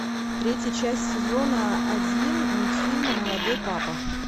третья часть сезона один мультфильма молодой папа